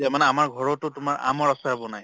মানে আমাৰ ঘৰত তোমাৰ আমৰ আচাৰ বনায়।